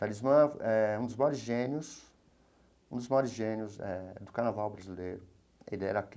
Talismã é um dos maiores gênios, um dos maiores gênios eh do carnaval brasileiro ele era.